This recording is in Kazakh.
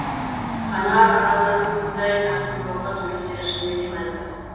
қанар аралдарының мұндай тартымдылығы туристер үшін өте мәнді